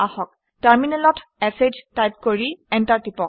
টাৰমিনেলত শ টাইপ কৰি এণ্টাৰ টিপক